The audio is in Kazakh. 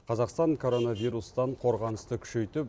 қазақстан коронавирустан қорғанысты күшейтіп